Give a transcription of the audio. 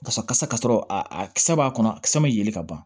Kasa ka sɔrɔ a kisɛ b'a kɔnɔ kisɛ bɛ yelen ka ban